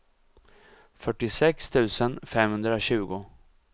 fyrtiosex tusen femhundratjugo